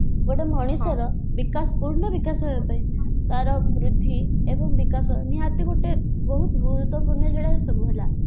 ଗୋଟେ ମଣିଷର ବିକାଶ ପୂର୍ଣ୍ଣ ବିକାଶ ହେବା ପାଇଁ ତାର ବୃଦ୍ଧି ଏବଂ ବିକାଶ ନିହାତି ଗୋଟେ ବହୁତ ଗୁରୁତ୍ୟପୂର୍ଣ୍ଣ ସେଇଗୁଡା ସବୁ ହେଲା